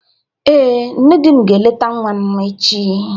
Ee, nne di m ga-eleta nwa m echi.